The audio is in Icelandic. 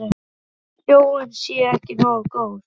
En sjónin sé ekki nógu góð.